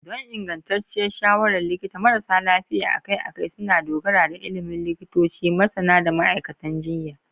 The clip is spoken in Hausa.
Don ingantacciyar shawarar likita, marasa lafiya akai-akai suna dogara da ilimin likitoci, masana, da ma'aikatan jinya.